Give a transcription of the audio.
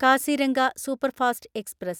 Kaziranga superfast express